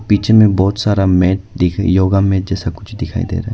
पीछे में बहुत सारा मैट देख योगा मैट जैसा कुछ दिखाई दे रहा है।